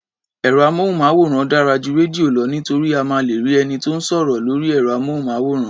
Ẹ̀rọ-amóhùnmáwòrán dára ju rédíò lọ nítorí a máa lè rí ẹni tó ń sọ̀rọ̀ lórí ẹ̀rọ-amóhùnmáwòrán.